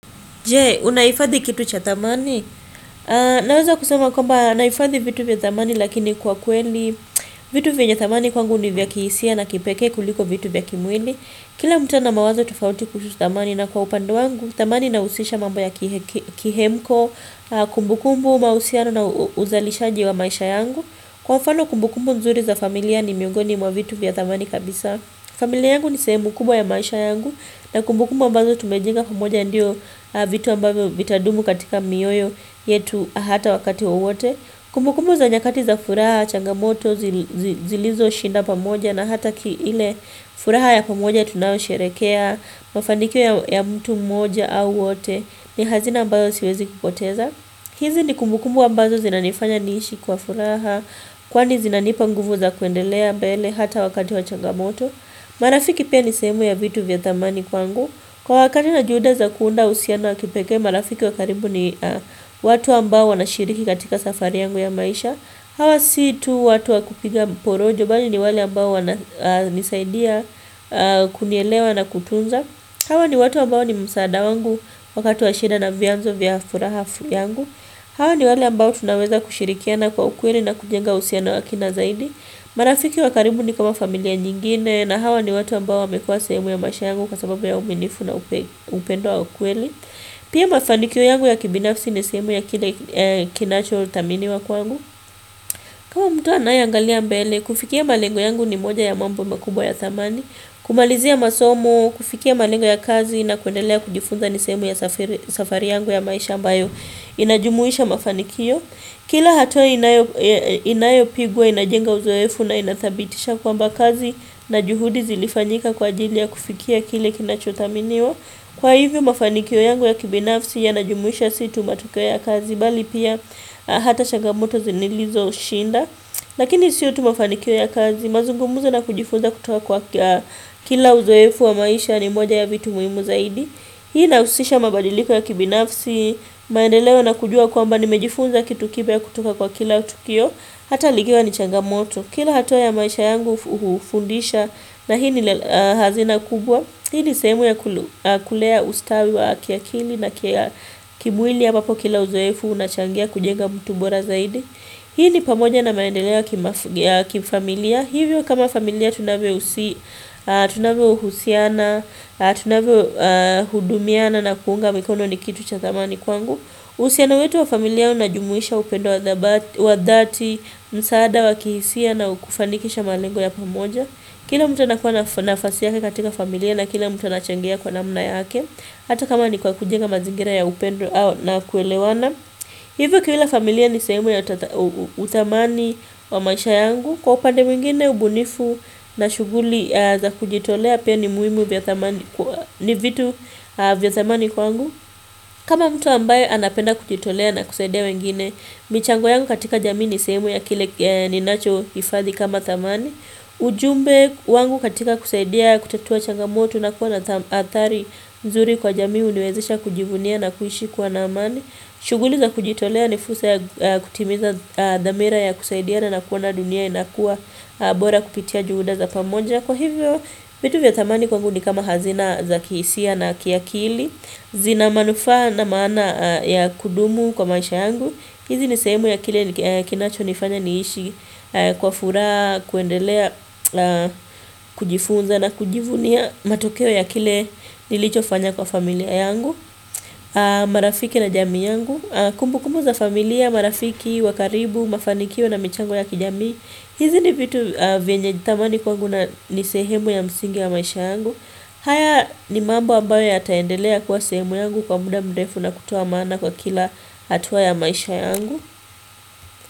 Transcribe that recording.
Je, unahifadhi kitu cha thamani? Naweza kusema kwamba, nahifadhi vitu vya thamani lakini kwa kweli. Vitu vyenye thamani kwangu ni vya kihisia na kipekee kuliko vitu vya kimwili. Kila mtu mawazo tofauti kuhusu thamani na kwa upande wangu. Thamani inahusisha mambo ya kihemko, kumbukumbu, mahusiano na uzalishaji wa maisha yangu. Kwa mfano kumbukumbu nzuri za familia ni miungoni mwa vitu vya thamani kabisa. Familia yangu ni sehemu kubwa ya maisha yangu. Na kumbukumbu ambazo tumejenga pamoja ndiyo vitu ambayo vitadumu katika mioyo yetu hata wakati wowote Kumbukumbu za nyakati za furaha, changamoto, zilizoshinda pamoja na hata ile furaha ya pamoja tunayosherekea Mafanikio ya mtu mmoja au wote ni hazina ambayo siwezi kupoteza hizi ni kumbukumbu ambazo zinanifanya niishi kwa furaha Kwani zinanipa nguvu za kuendelea mbele hata wakati wa changamoto marafiki pia ni sehemu ya vitu vya thamani kwangu Kwa wakati na juhuda za kuunda uhusiano wa kipekee marafiki wa karibu ni watu ambao wanashiriki katika safari yangu ya maisha Hawa si tu watu wakupiga porojo Bali ni wale ambao wana nisaidia kunielewa na kutunza Hawa ni watu ambao ni msaada wangu wakati wa shida na vyanzo vya furaha yangu Hawa ni wale ambao tunaweza kushirikiana kwa ukweli na kujenga uhusiano wa kina zaidi marafiki wa karibu ni kama familia nyingine na hawa ni watu ambao wamekuwa sehemu ya maisha yangu kwa sababu ya uaminifu na upendo wa kweli Pia mafanikio yangu ya kibinafsi ni sehemu ya kinacho thaminiwa kwangu kama mtu anayeangalia mbele, kufikia malengo yangu ni moja ya mambo makubwa ya thamani kumalizia masomo, kufikia malengo ya kazi na kuendelea kujifunza ni sehemu ya safari yangu ya maisha ambayo inajumuisha mafanikio Kila hatua inayopigwa inajenga uzoefu na inathibitisha kwamba kazi na juhudi zilifanyika kwa ajili ya kufikia kile kinachothaminiwa Kwa hivyo mafanikio yangu ya kibinafsi yanajumuisha si tu matokeo ya kazi bali pia hata changamoto nilizoshinda Lakini siyo tu mafanikio ya kazi mazungumuzo na kujifunza kutoka kwa kila uzoefu wa maisha ni moja ya vitu muhimu zaidi Hii inahusisha mabadiliko ya kibinafsi, maendeleo na kujua kwamba nimejifunza kitu kipya kutoka kwa kila tukio, hata likiwa ni changamoto. Kila hatau ya maisha yangu hufundisha na hii ni hazina kubwa. Hii ni sehemu ya kulea ustawi wa kiakili na kimwili ambapo kila uzoefu unachangia kujenga mtu bora zaidi. Hii ni pamoja na maendeleo ya kifamilia. Hivyo kama familia tunavyohusiana, tunavyohudumiana na kuunga mikono ni kitu cha thamani kwangu uhusiano wetu wa familia unajumuisha upendo wa dhati, msaada wa kihisia na kukufanikisha malengo ya pamoja Kila mtu anakuwa nafasi yake katika familia na kila muta anachangia kwa namna yake Hata kama ni kwa kujenga mazingira ya upendo na kuelewana Hivyo kila familia nisehemu ya utthamani wa maisha yangu Kwa upande mwingine ubunifu na shughuli za kujitolea pia ni vitu vya thamani kwangu kama mtu ambaye anapenda kujitolea na kusaidia wengine michango yangu katika jamii ni sehemu ya kile ninachoifadhi kama thamani ujumbe wangu katika kusaidia kutatua changamotu na kuwa na athari nzuri kwa jamii huniwezesha kujivunia na kuishi kwa amani shughuli za kujitolea ni fursa ya kutimiza damira ya kusaidiana na kuona dunia inakua bora kupitia juhuda za pamoja. Kwa hivyo, vitu vya thamani kwangu ni kama hazina za kihisia na kiakili. Zina manufaa na maana ya kudumu kwa maisha yangu. Hizi ni sehemu ya kile kinachonifanya niishi kwa furaha, kuendelea, kujifunza na kujivunia. Matokeo ya kile nilichofanya kwa familia yangu. Marafiki na jamii yangu Kumbukumbu za familia, marafiki, wa karibu, mafanikio na michango ya kijamii hizi ni vitu vyenye thamani kwangu na ni sehemu ya msingi ya maisha yangu haya ni mambo ambayo yataendelea kuwa sehemu yangu kwa muda mdefu na kutoa maana kwa kila hatua ya maisha yangu.